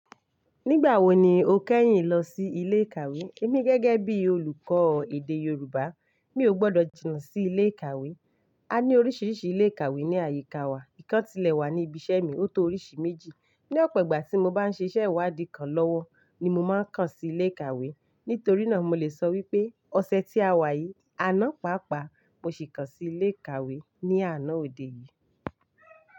Nígbà wo ni o kẹ́yìn lọ sí ilé ìkàwé? Èmi gẹ́gẹ́ bí olùkọ́ èdè Yorùbá, mi ò gbọ́dọ̀ jìnnà sí ilé ìkàwé. A ní oríṣiríṣi ilé ìkàwé ní àyíká wa. Nìkan tilẹ̀ wà ní ibi iṣẹ́ mi, ó tó oríṣi méjì. Ní ọ̀pọ̀ ìgbà tí mo bá ń se ṣiṣẹ́ ìwádìí kan lọ́wọ́ ni mo máa ń kàn sí ilé ìkàwé. Nítorí náà mo lè sọ wípé ọ̀sẹ̀ tí a wà yìí, àná pàápàá mo sì kàn sí ilé ìkàwé ní àná òde yìí.